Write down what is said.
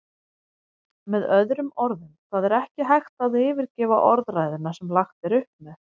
Með öðrum orðum, það er ekki hægt að yfirgefa orðræðuna sem lagt er upp með.